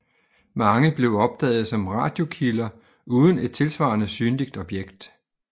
Mange blev opdaget som radiokilder uden et tilsvarende synligt objekt